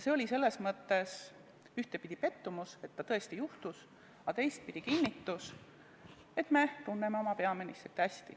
See oli selles mõttes ühtepidi pettumus, et nii tõesti juhtus, aga teistpidi kinnitus, et me tunneme oma peaministrit hästi.